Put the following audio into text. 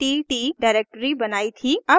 अब उस डिरेक्टरी पर जाते हैं